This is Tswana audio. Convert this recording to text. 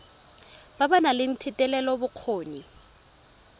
ba ba nang le thetelelobokgoni